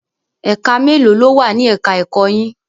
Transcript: Ẹ̀ka mélòó ló wà ni ẹ̀ka ẹ̀kọ́ yín?